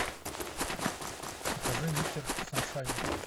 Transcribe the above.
покажи мистер саншайн